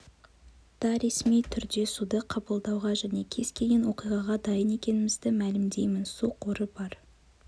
да ресми түрде суды қабылдауға және кез келген оқиғаға дайын екенімізді мәлімдеймін су қоры бар